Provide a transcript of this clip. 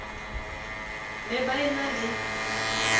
ne ba e na le